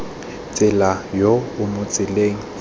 tsela yo o mo tseleng